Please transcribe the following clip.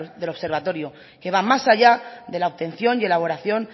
del observatorio que va más allá de la obtención y elaboración